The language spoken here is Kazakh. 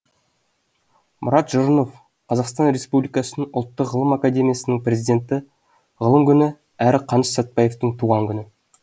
мұрат жұрынов қазақстан республикасының ұлттық ғылым академиясының президенті ғылым күні әрі қаныш сәтбаевтың туған күні